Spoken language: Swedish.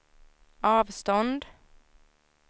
avstånd